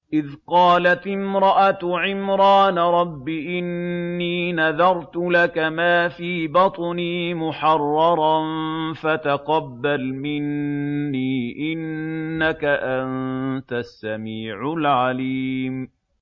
إِذْ قَالَتِ امْرَأَتُ عِمْرَانَ رَبِّ إِنِّي نَذَرْتُ لَكَ مَا فِي بَطْنِي مُحَرَّرًا فَتَقَبَّلْ مِنِّي ۖ إِنَّكَ أَنتَ السَّمِيعُ الْعَلِيمُ